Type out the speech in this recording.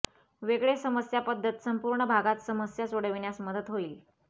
वेगळे समस्या पद्धत संपूर्ण भागात समस्या सोडविण्यास मदत होईल